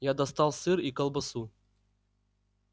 я достал сыр и колбасу